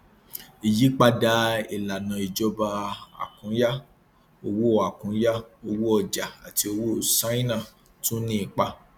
ìyípadà ìlànà ìjọba àkúnya owó àkúnya owó ọjà àti owó ṣáínà tún ní ipa